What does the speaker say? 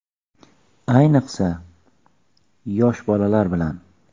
Ayniqsa, yosh bolalar bilan.